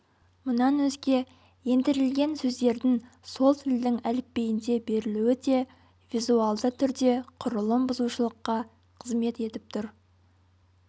мұнан өзге ендірілген сөздердің сол тілдің әліпбиінде берілуі де визуалды түрде құрылым бұзушылыққа қызмет етіп тұр